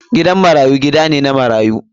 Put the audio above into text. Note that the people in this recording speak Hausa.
Gidan marayu gida ne na marayu.